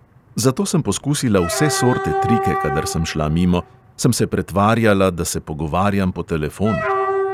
Zato sem poskusila vse sorte trike kadar sem šla mimo, sem se pretvarjala, da se pogovarjam po telefonu.